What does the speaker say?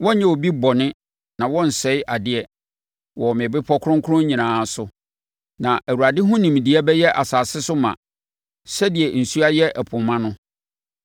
Wɔrenyɛ obi bɔne na wɔrensɛe adeɛ wɔ me bepɔ Kronkron nyinaa so, na Awurade ho nimdeɛ bɛyɛ asase so ma sɛdeɛ nsuo ayɛ ɛpo ma no.